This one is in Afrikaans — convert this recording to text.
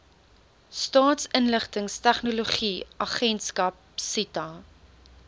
staatsinligtingstegnologie agentskap sita